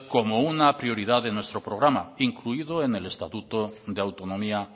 como una prioridad de nuestro programa incluido en el estatuto de autonomía